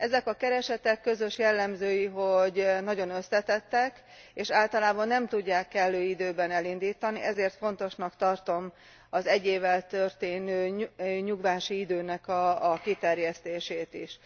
Ezen keresetek közös jellemzői, hogy nagyon összetettek, és általában nem tudják kellő időben elindítani ezért fontosnak tartom az egy évvel történő nyugvási időnek a kiterjesztését is.